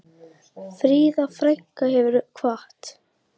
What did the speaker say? Fríða frænka hefur kvatt.